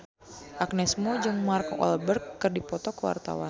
Agnes Mo jeung Mark Walberg keur dipoto ku wartawan